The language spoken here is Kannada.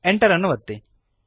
Enter ಅನ್ನು ಒತ್ತಿರಿ